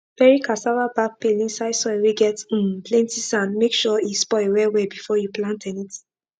bury cassava back peel inside soil whey get um plenty sand make sure he spoil well well before you plant anything